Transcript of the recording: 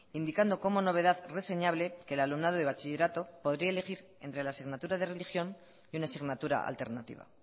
indicando como novedad reseñable que el alumnado de bachillerato podría elegir entre la asignatura de religión y una asignatura alternativa